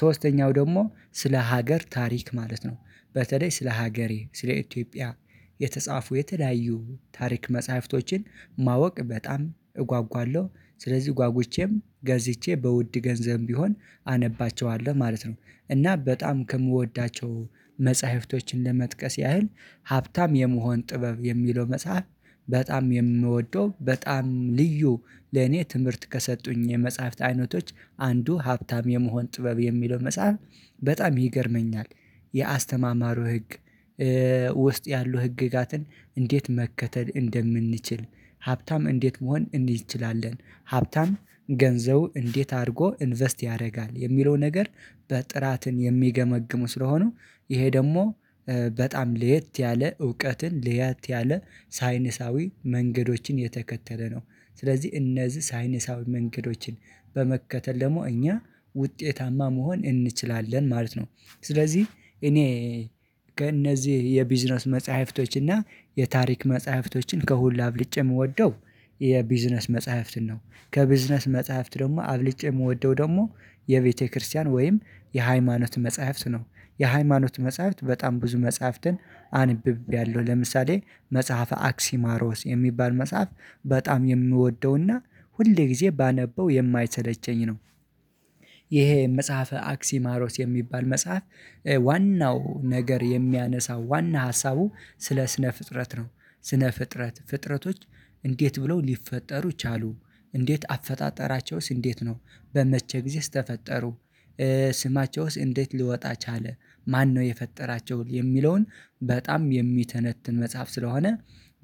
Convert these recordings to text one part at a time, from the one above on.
ሶስተኛው ደግሞ ስለ ሀገር ታሪክ ማለት ነው በተለይ ስለ ሀገሬ ስለ ኢትዮጵያ የተጻፉ የተለያዩ ታሪክ መጽሐፍቶችን ማወቅ በጣም እጓጓለሁ። ስለዚህ ጓጉቼም ገዝቼ በውድ ገንዘብም ቢሆን አነባቸዋለሁ ማለት ነው። እና በጣም ከምወዳቸው መጽሐፍቶችን ለመጥቀስ ያህል ሀብታም የመሆን ጥበብ የሚለው መጽሐፍ በጣም የምወደው በጣም ልዩ ለኔ ትምህርት ከሰጡኝ የመጽሐፍት አይነቶች አንዱ ሀብታም የመሆን ጥበብ የሚለው መጽሐፍ በጣም ይገርመኛል። የአስተማማሩ ህግ ውስጥ ያሉ ህግጋትን እንዴት መከተል እንደምንችል ሀብታም እንዴት መሆን እንችላለን። ሀብታም ገንዘቡ እንዴት አድርጎ ኢንቨስት ያደርጋል የሚለው ነገር በጥራት የሚገመግሙ ስለሆኑ ይሄ ደግሞ በጣም ለየት ያለ እውቀትን ለየት ያለ ሳይነሳዊ መንገዶችን የተከተለ ነው። ስለዚህ እነዚህ ሳይነሳዊ መንገዶችን በመከተል ደግሞ እኛ ውጤታማ መሆን እንችላለን ማለት ነው። ስለዚህ እኔ ከእነዚህ የቢዝነስ መጽሐፍቶችና የታሪክ መጽሐፍቶችን ከሁሉ አብልጬ የምወደው የቢዝነስ መጽሐፍትን ነው። ከቢዝነስ መጽሐፍት ደግሞ አስበልጨ የምወደው ደግሞ የቤተክርስቲያን ወይም የሃይማኖት መጽሐፍት ነው። የሃይማኖት መጽሐፍት በጣም ብዙ መጽሐፍትን አንብቤያለሁ ለምሳሌ መጽሐፈ አክሲማሮስ የሚባል መጽሐፍ በጣም የምወደውና ሁልጊዜ ባነበው የማይሰለቸኝ ነው። ይሄ መጽሐፈ አክሲማሮስ የሚባል መጽሐፍ ዋናው ነገር የሚያነሳው ዋና ሀሳቡ ስለ ስነ ፍጥረት ነው። ስነ ፍጥረት ፍጥረቶች እንዴት ብለው ሊፈጠሩ ቻሉ እንዴት አፈጣጠራቸውስ እንዴት ነው በመቼ ጊዜስ ተፈጠሩ? ስማቸውስ እንዴት ሊወጣ ቻለ? ማነው የፈጠራቸው የሚለውን? በጣም የሚተነትን መጽሐፍ ስለሆነ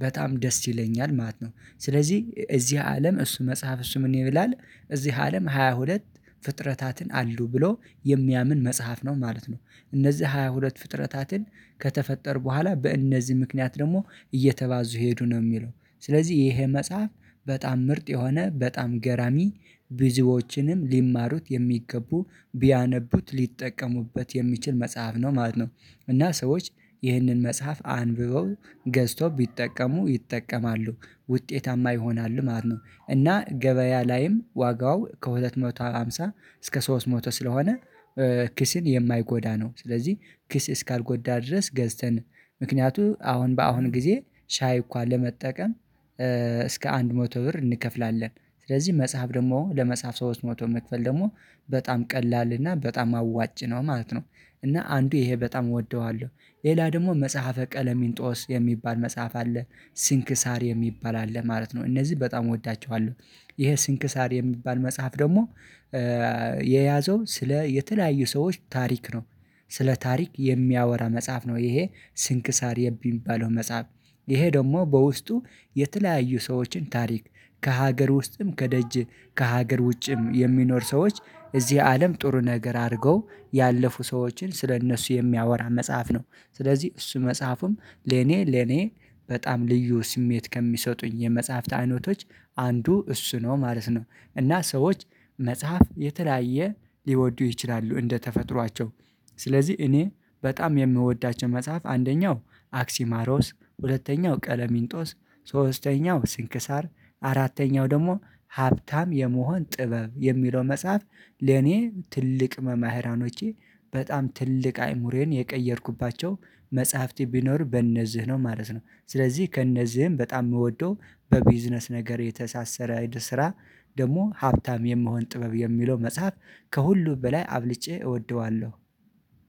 በጣም ደስ ይለኛል ማለት ነው። ስለዚህ እዚህ አለም እሱ መጽሐፍ እሱ ምን ይላል እዚህ አለም ሀያሁለት ፍጥረታትን አሉ ብሎ የሚያምን መጽሐፍ ነው ማለት ነው። እነዚህ ሃያ ሁለት ፍጥረታትን ከተፈጠሩ በኋላ በእነዚህ ምክንያት ደግሞ እየተባዙ ሄዱ ነው የሚለው ስለዚህ ይሄ መጽሐፍ በጣም ምርጥ የሆነ በጣም ገራሚ ብዙዎችንም ሊማሩት የሚገቡ ቢያነቡት ሊጠቀሙበት የሚችል መጽሐፍ ነው ማለት ነው። እና ሰዎች ይህንን መጽሐፍ አንብበው ገዝተው ቢጠቀሙ ይጠቀማሉ። ውጤታማ ይሆናሉ ማለት ነው እና ገበያ ላይም ዋጋው ከሁለት መቶ ሃምሳ እስከ ሶስት መቶ ስለሆነ ኪስን የማይጎዳ ነው። ስለዚህ ኪስ እስካልጎዳ ድረስ ገዝተን ምክንያቱም አሁን በአሁን ጊዜ ሻይ እንኳን ለመጠቀም እስከ አንድ መቶ ብር እንከፍላለን ስለዚህ መጽሐፍ ደግሞ ለመጽሐፍ ሰዎች መቶ መክፈል ደግሞ በጣም ቀላል እና በጣም አዋጭ ነው ማለት ነው። እና አንዱ ይሄ በጣም እወደዋለሁ። ሌላ ደግሞ መጽሐፈ ቀለሚንጦስ የሚባል መጽሐፍ አለ ሲንክሳር የሚባል አለ ማለት ነው እነዚህን በጣም እወዳቸዋለሁ። ይሄ ሲንክሳር የሚባል መጽሐፍ ደግሞ የያዘው ስለ የተለያዩ ሰዎች ታሪክ ነው። ስለ ታሪክ የሚያወራ መጽሐፍ ነው ይሄ ስንክሳር የሚባለው መጽሐፍ ይሄ ደግሞ በውስጡ የተለያዩ ሰዎችን ታሪክ ከሀገር ውስጥም ከደጅ ከሀገር ውጭም የሚኖር ሰዎች እዚህ አለም ጥሩ ነገር አድርገው ያለፉ ሰዎችን ስለእነሱ የሚያወራ መጽሐፍ ነው። ስለዚህ እሱ መጽሐፉም ለኔ ለኔ በጣም ልዩ ስሜት ከሚሰጡኝ የመጽሐፍት አይነቶች አንዱ እሱ ነው ማለት ነው። እና ሰዎች መጽሐፍ የተለያየ ሊወዱ ይችላሉ እንደተፈጥሯቸው። ስለዚህ እኔ በጣም የምወዳቸው መጽሐፍ አንደኛው አክሲማሮስ ሁለተኛው ቀለሚንጦስ ሶስተኛው ስንክሳር አራተኛው ደግሞ ሀብታም የመሆን ጥበብ የሚለው መጽሐፍ። ለኔ ትልቅ መምህራኖቼ በጣም ትልቅ አይምሮየን የቀየርኩባቸው መጽሐፍት ቢኖር በእነዚህ ነው ማለት ነው። ስለዚህ ከእነዚህም በጣም የምወደው በቢዝነስ ነገር የተሳሰረ ስራ ደግሞ ሀብታም የመሆን ጥበብ የሚለው መጽሐፍ። ከሁሉ በላይ አብልጨ እወደዋለሁ።